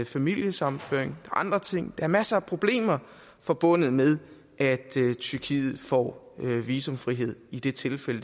familiesammenføring og andre ting er masser af problemer forbundet med at tyrkiet får visumfrihed i det tilfælde